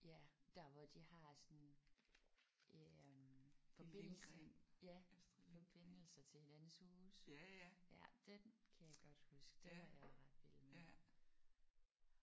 Ja dér hvor de har sådan øh forbindelse ja forbindelser til hinandens huse. Ja den kan jeg godt huske. Den var jeg ret vild med